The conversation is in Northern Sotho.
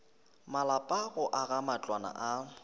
malapa go aga matlwana a